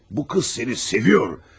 Bu qız səni sevir.